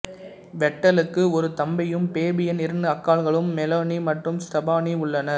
வெட்டலுக்கு ஒரு தம்பியும் பேபியன் இரண்டு அக்காக்களும் மெலானி மற்றும் ஸ்டெபானி உள்ளனர்